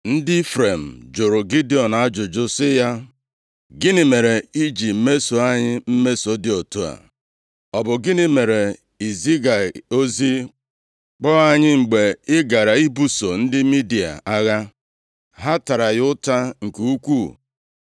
Ndị Ifrem jụrụ Gidiọn ajụjụ sị ya, “Gịnị mere i ji meso anyị mmeso dị otu a? Ọ bụ gịnị mere i zighị ozi kpọ anyị mgbe ị gara ibuso ndị Midia agha?” Ha tara ya ụta nke ukwuu.